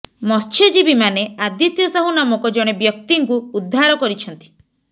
ମତ୍ସ୍ୟଜୀବୀମାନେ ଆଦିତ୍ୟ ସାହୁ ନାମକ ଜଣେ ବ୍ୟକ୍ତିଙ୍କୁ ଉଦ୍ଧାର କରିଛନ୍ତି